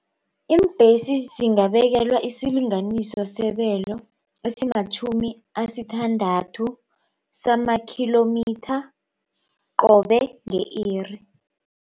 Iimbhesi singabekelwa isilinganiso sebelo esimatjhumi asithandathu samakhilomitha qobe nge-iri.